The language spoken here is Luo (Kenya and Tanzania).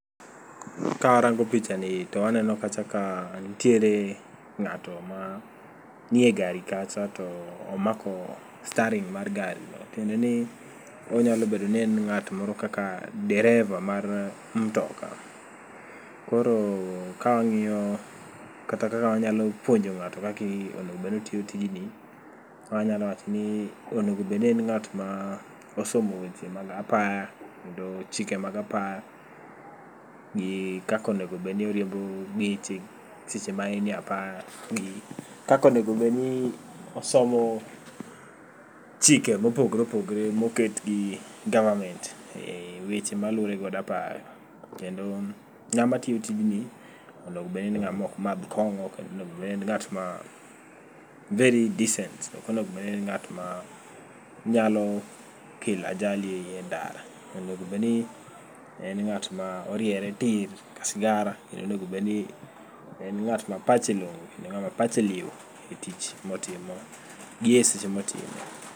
Ka arango picha ni to aneno kacha ka ntiere ng'ato ma nie gari kacha to omako staring' mar gari no. Tiende ni onyalo bedo ni en ng'at moro kara dereva mar mtoka. Koro ka wang'iyo kata kaka wanyalo puonjo ng'ato kaki onegobedni otiyo tijni, wanyalo wacho ni onego bedni en ng'at ma osomo weche mag apaya, kendo chike mag apaya. Gi kakonego bedni oriembo geche seche ma en e apaya gi, kakonegobedni osomo chike mopogre opogre moket gi government e weche ma luwore kod apaya. Kendo ng'ama tiyo tijni onego bedni ng'ama ok madho kong'o kata onegobedni en ng'at ma very descent. Okonego bedni en ng'at ma nyalo kelo ajali e ndara. Onegobedni en ng'at ma oriere tir ka sigara, kendo onegobedni en ng'at ma pache long'o kendo ng'ama pache liw e tich motimo gi e seche motime.